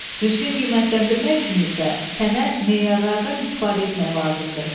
Düzgün qiymətləndirmək üçün isə sənə meyarlardan istifadə etmək lazımdır.